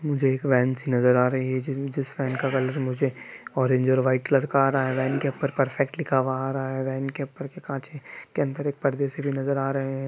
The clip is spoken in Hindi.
मुझे एक वैन सी नजर आ रही है जिस वैन का कलर मुझे ओरंज और वाईट कलर का आ रहा है| वैन के ऊपर परफेक्ट लिखा हुआ आ रहा है| वैन के ऊपर भी कांच के अंदर एक पर्दे से जो नजर आ रहे है।